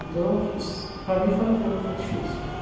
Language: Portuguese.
Então, para mim foi, foi, foi difícil.